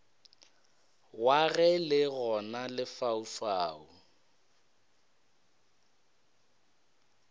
wa ge le gona lefaufau